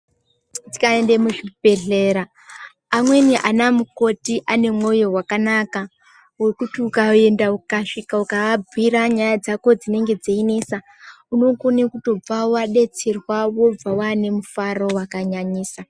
Tikaendae muzviibhelhera amweni anamukoti ane mwoyo wakanaka wokuti ukaenda ukasvika ukaabhuyira nyaya dzako dzinenge dzeinesa unokone kutobve wadetserwa wobve waane rufaro rwakanyanyisa.